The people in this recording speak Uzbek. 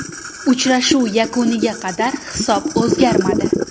Uchrashuv yakuniga qadar hisob o‘zgarmadi.